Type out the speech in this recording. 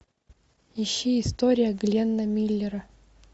ищи история гленна миллера